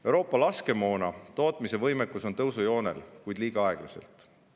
Euroopa laskemoona tootmise võimekus on tõusujoonel, kuid paraneb liiga aeglaselt.